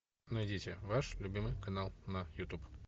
найдите ваш любимый канал на ютуб